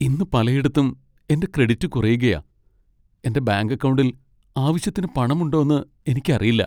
ഇന്ന് പലയിടത്തും എന്റെ ക്രെഡിറ്റ് കുറയുകയാ. എന്റെ ബാങ്ക് അക്കൗണ്ടിൽ ആവശ്യത്തിന് പണമുണ്ടോന്ന് എനിക്കറിയില്ല.